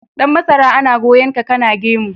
Dan masara ana goyon ka kana gemu.